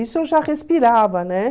Isso eu já respirava, né?